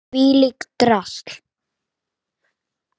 Þvílíkt drasl!